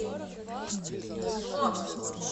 зло